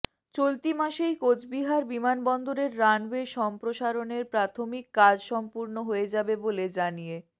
চলতি মাসেই কোচবিহার বিমান বন্দরের রানওয়ে সম্প্রসারণের প্রাথমিক কাজ সম্পূর্ণ হয়ে যাবে বলে জানিয়ে